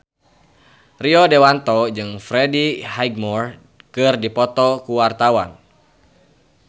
Rio Dewanto jeung Freddie Highmore keur dipoto ku wartawan